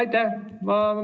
Aitäh!